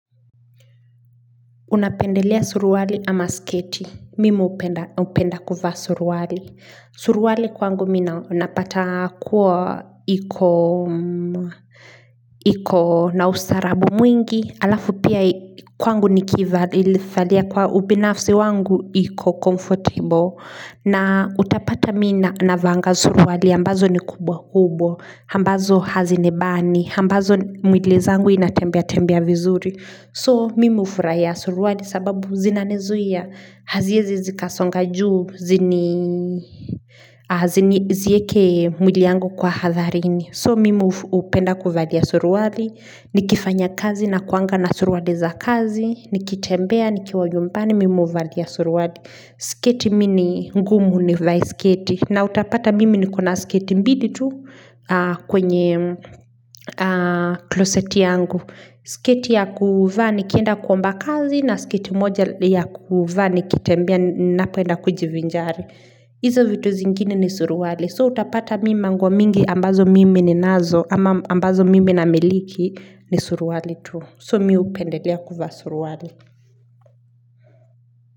Unapendelea suruwali ama sketi mimi upenda kufa suruwali suruwali kwangu mina unapata kuwa iko. Iko na ustarabu mwingi alafu pia kwangu nikivali ilifalia kwa ubinafsi wangu iko comfortable. Na utapata mina navanga suruwali ambazo ni kubwa kubwa ambazo hazinibani ambazo mwilizangu inatembea tembea vizuri So mimi ufuraia suruali sababu zinanezuia haziezi zika songa juu zini. Zieke mwili yangu kwa hadharini. So mimi upenda kuvalia suruadi, nikifanya kazi na kuanga na suruali za kazi, nikitembea, nikiwajumpani, mimi uvalia suruali. Sketi mini ngumu ni vae sketi na utapata mimi nikona sketi mbili tu kwenye closet yangu. Sketi ya kuvaa nikienda kuomba kazi na sketi moja ya kuvaa nikitembea ninapoenda kujivinjari hizo vitu zingine ni suruali, so utapata mimi nanguo mingi ambazo mimi ninazo ama ambazo mimi namiliki ni suruali tu, so mimi hupendelea kuvaa suruali.